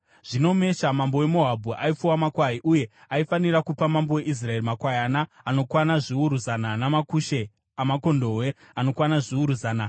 Zvino Mesha mambo weMoabhu aipfuwa makwai, uye aifanira kupa mambo weIsraeri makwayana anokwana zviuru zana namakushe amakondobwe anokwana zviuru zana.